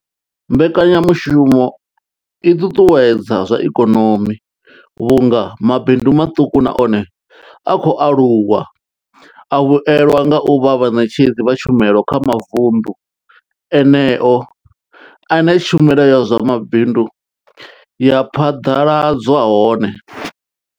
Mbekanyamushumo i ṱuṱuwedza zwa ikonomi vhunga mabindu maṱuku na one a khou aluwa a vhuelwa nga u vha vhaṋetshedzi vha tshumelo kha mavundu eneyo ane tshumelo ya zwa mabindu ya phaḓaladzwa hone.